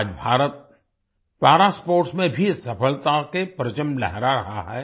आज भारत पारा स्पोर्ट्स में भी सफलता के परचम लहरा रहा है